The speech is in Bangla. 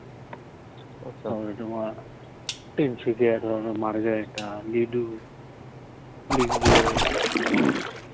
একধরণের মারা যায় একটা